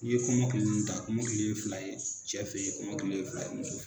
i ye kɔmɔkili mun ta kɔmɔkili ye fila ye cɛ fe ye, kɔmɔkili ye fila ye muso f